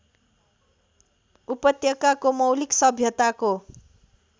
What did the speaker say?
उपत्यकाको मौलिक सभ्यताको